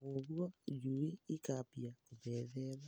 Na kwoguo, njui ikambia kũmethema.